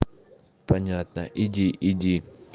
понятно иди иди